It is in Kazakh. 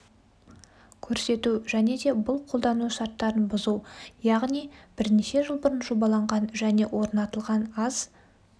көрсету және де бұл қолдану шарттарын бұзу яғни бірнеше жыл бұрын жобаланған және орнатылған аз